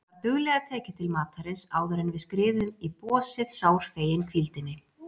Var duglega tekið til matarins áðuren við skriðum í bosið sárfegin hvíldinni.